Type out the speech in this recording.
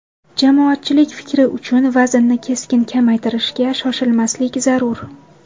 Jamoatchilik fikri uchun vaznni keskin kamaytirishga shoshmaslik zarur.